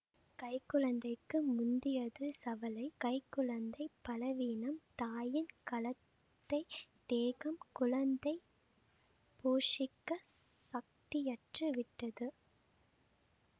கைக்குழந்தைக்கு முந்தியது சவலை கை குழந்தை பலவீனம் தாயின் களத்தை தேகம் குழந்தையை போஷிக்கச் சக்தியற்று விட்டது